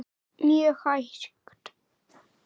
Mjög hægt.